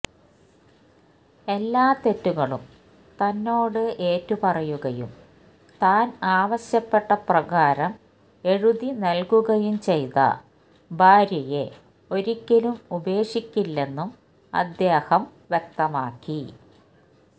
എല്ലാ തെറ്റുകളും തന്നോട് ഏറ്റുപറയുകയും താന് ആവശ്യപ്പെട്ട പ്രകാരം എഴുതി നല്കുകയും ചെയ്ത ഭാര്യയെ ഒരിക്കലും ഉപേക്ഷിക്കില്ലെന്നും അദ്ദേഹം വ്യക്തമാക്കി